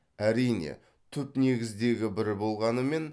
әрине түпнегіздегі бір болғанымен